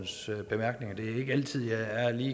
så derfor